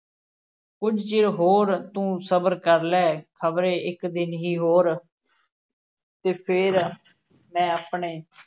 ਕੁਝ ਚਿਰ ਹੋਰ ਤੂੰ ਸਬਰ ਕਰ ਲੈ ਖ਼ਬਰੇ ਇੱਕ ਦਿਨ ਹੀ ਹੋਰ ਤੇ ਫੇਰ ਮੈਂ ਆਪਣੇ